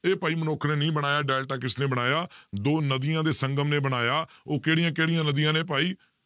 ਇਹ ਭਾਈ ਮਨੁੱਖ ਨੇ ਨਹੀਂ ਬਣਾਇਆ ਡੈਲਟਾ ਕਿਸਨੇ ਬਣਾਇਆ ਦੋ ਨਦੀਂ ਦੇ ਸੰਗਮ ਨੇ ਬਣਾਇਆ ਉਹ ਕਿਹੜੀਆਂ ਕਿਹੜੀਆਂ ਨਦੀਆਂ ਨੇ ਭਾਈ